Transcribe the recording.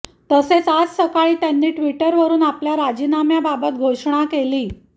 तसेच आज सकाळी त्यांनी ट्विटरवरुन आपल्या राजीनाम्याबाबत घोषणा केली